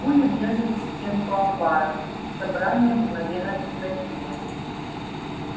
пули врезались в стенку амбара собрание мгновенно прекратилось